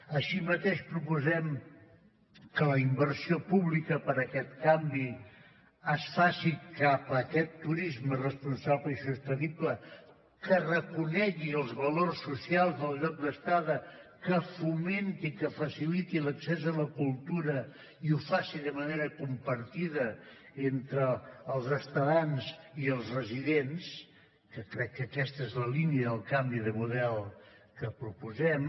així mateix proposem que la inversió pública per a aquest canvi es faci cap a aquest turisme responsable i sostenible que reconegui els valors socials del lloc d’estada que fomenti que faciliti l’accés a la cultura i ho faci de manera compartida entre els estadants i els residents que crec que aquesta és la línia del canvi de model que proposem